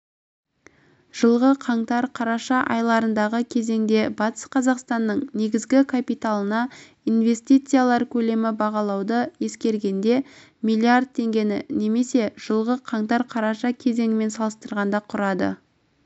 жылғы қаңтар-қараша аралығындағы кезеңде батыс қазақстанның негізгі капиталына инвестициялар көлемі бағалауды ескергенде миллиард теңгені немесе жылғы қаңтар-қараша кезеңімен салыстырғанда құрады